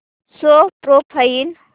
show profile